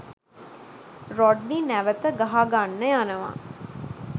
Rodney නැවත ගහගන්න යනවා.